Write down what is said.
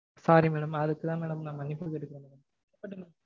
sorry madam. அதுக்குதா madam நா மன்னிப்பும் கேட்டுக்கறேன்.